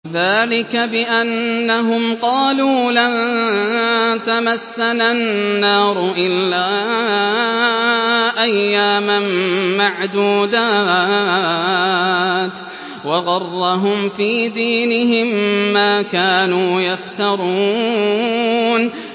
ذَٰلِكَ بِأَنَّهُمْ قَالُوا لَن تَمَسَّنَا النَّارُ إِلَّا أَيَّامًا مَّعْدُودَاتٍ ۖ وَغَرَّهُمْ فِي دِينِهِم مَّا كَانُوا يَفْتَرُونَ